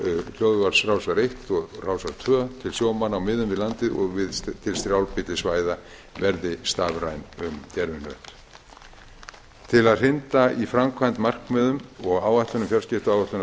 hljóðvarps rásar eitt og rásar tvö til sjómanna á miðum við landið og til strjálbýlli svæða verði stafræn um gervihnött til að hrinda í framkvæmd markmiðum og áætlunum fjarskiptaáætlunar